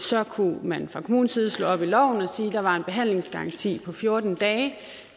så kunne man fra kommunens side slå op i loven og sige at der var en behandlingsgaranti på fjorten dage